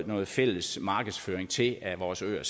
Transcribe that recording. noget fælles markedsføring til af vores øer